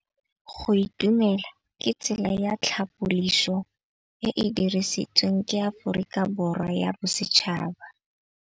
Go itumela ke tsela ya tlhapolisô e e dirisitsweng ke Aforika Borwa ya Bosetšhaba.